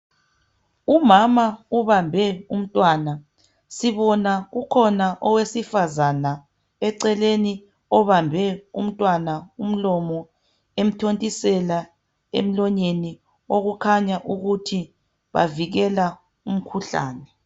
Umama ubambe umntwana. Sibona kukhona owesifazana eceleni obambe umntwana umlomo emthontisela emlonyeni okukhanya ukuthi bavikela umkhuhlane.